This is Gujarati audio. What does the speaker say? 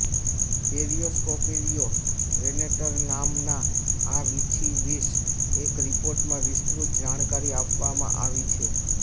પેરિયોસ્કોર્પિયો વેનેટર નામાનાં આ વીછીં વિશ એક રિપોર્ટમાં વિસ્તૃર્ત જાણકારી આપવામાં આવી છે